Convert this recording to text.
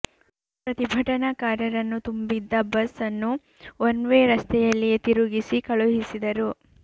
ಪ್ರತಿಭಟನಾ ಕಾರರನ್ನು ತುಂಬಿದ್ದ ಬಸ್ ಅನ್ನು ಒನ್ ವೇ ರಸ್ತೆಯಲ್ಲಿಯೇ ತಿರುಗಿಸಿ ಕಳುಹಿಸಿದರು